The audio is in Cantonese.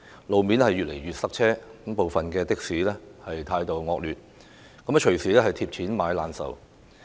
路面越來越塞車，部分的士司機的態度惡劣，乘客隨時"貼錢買難受"。